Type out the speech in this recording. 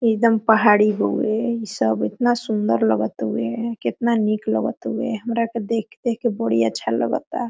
एकदम पहाड़ी होवे इन सब इतना सुन्दर लगत तवे कितन मीत लग तवेहमरा के देख-देख बड़ी अच्छा लग ता।